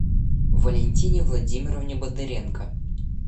валентине владимировне бондаренко